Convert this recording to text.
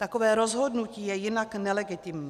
Takové rozhodnutí je jinak nelegitimní.